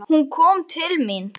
Hún kom til mín.